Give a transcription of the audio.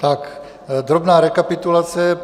Tak, drobná rekapitulace.